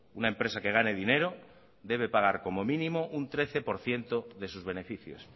una empresa que gane dinero debe pagar como mínimo un trece por ciento de sus beneficios